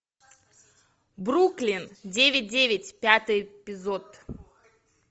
бруклин девять девять пятый эпизод